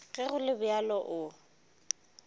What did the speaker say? ge go le bjalo o